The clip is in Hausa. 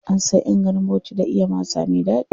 An san ƴan garin Bauchi da iya masa me ɗaɗi.